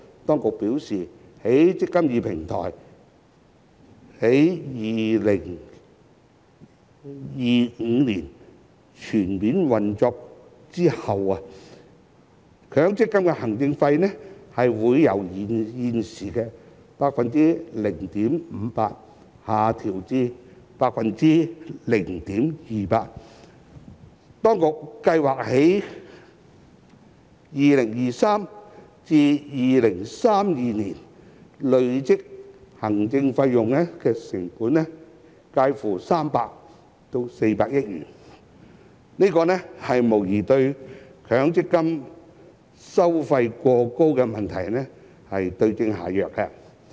當局表示，"積金易"平台於2025年全面運作後，強積金的行政費會由現時的 0.58% 下降至 0.28%， 當局預計在2023年至2032年累計節省的行政成本介乎300億元至400億元，無疑對強積金收費過高的問題對症下藥。